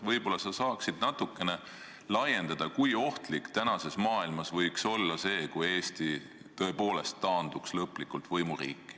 Ehk sa saaksid natukene laiendada, kui ohtlik võiks praeguses maailmas olla see, kui Eesti tõepoolest taanduks lõplikult võimuriiki.